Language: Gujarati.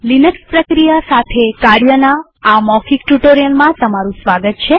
લિનક્સ પ્રક્રિયા સાથે કાર્યના આ મૌખિક ટ્યુ્ટોરીઅલમાં સ્વાગત છે